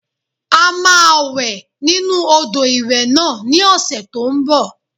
A máa wẹ̀ nínu odò ìwẹ̀ náà ní ọ̀sẹ̀ tó n bọ̀